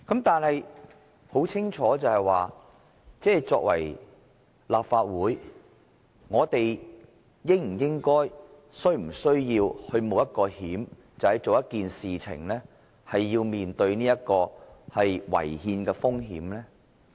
然而，很清楚的是，作為立法會議員，我們是否應該或是否需要冒這個險，也就是為了做一件事而面對違憲的風險？